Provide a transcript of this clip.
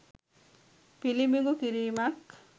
පිළිබිඹු කිරීමක්.